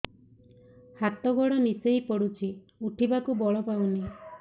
ହାତ ଗୋଡ ନିସେଇ ପଡୁଛି ଉଠିବାକୁ ବଳ ପାଉନି